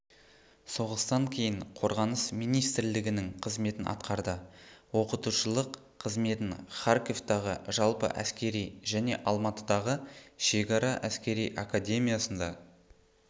соғыстан кейін қорғаныс министірлігінің қызметін атқарды оқытушылық қызметін харковтағы жалпы әскери және алматыдағы шекара әскери академиясында